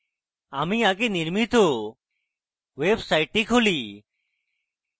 আমাদের আগে নির্মিত ওয়েবসাইটটি খুলি